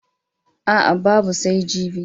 A'a, babu sai jibi.